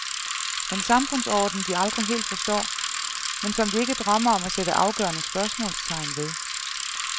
En samfundsorden, de aldrig helt forstår, men som de ikke drømmer om at sætte afgørende spørgsmålstegn ved.